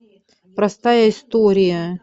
простая история